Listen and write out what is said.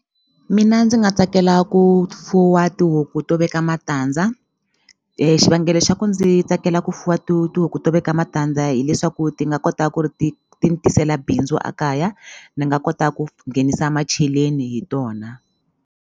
Mina ndzi nga tsakela ku fuwa tihuku to veka matandza xivangelo xa ku ndzi tsakela ku fuwa tihuku to veka matandza hileswaku ti nga kota ku ri ti ti ni tisela bindzu a kaya ni nga kota ku nghenisa macheleni hi tona.